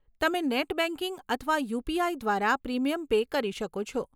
તમે net banking અથવા UPI દ્વારા પ્રીમિયમ પે કરી શકો છો.